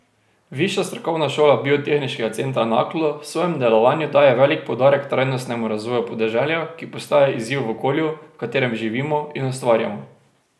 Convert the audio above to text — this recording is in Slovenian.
Višja strokovna šola Biotehniškega centra Naklo v svojem delovanju daje velik poudarek trajnostnemu razvoju podeželja, ki postaja izziv v okolju, v katerem živimo in ustvarjamo.